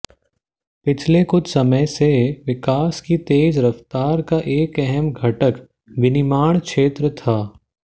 पिछले कुछ समय से विकास की तेज रफ्तार का एक अहम घटक विनिर्माण क्षेत्र था